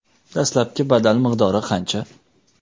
Dastlabki badal miqdori qancha?